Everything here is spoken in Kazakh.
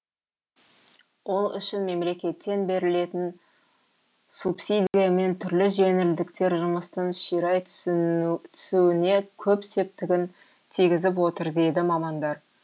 ол үшін мемлекеттен берілетін субсидия мен түрлі жеңілдіктер жұмыстың ширай түсуіне көп септігін тигізіп отыр дейді мамандар